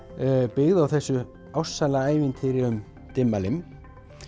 byggð á þessu ástsæla ævintýri um Dimmalimm